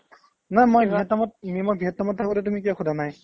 নে মই vietnam ত overllap নে মই vietnam ত থাকো সেইটো তুমি কিয় সুধা নাই ?